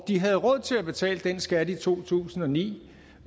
de havde råd til at betale den skat i to tusind og ni